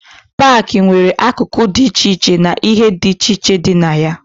Paakị nwere akụkụ dị iche iche na ihe dị iche dị na ya.